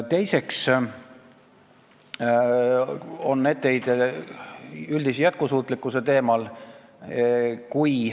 Teiseks on mul etteheide üldise jätkusuutlikkuse teemal.